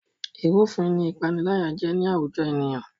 Ìrúfin ni ìpániláyà jẹ́ ní àwùjọ ènìyàn